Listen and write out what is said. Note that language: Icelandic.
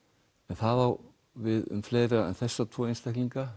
það á við um fleiri en þessa tvo einstaklinga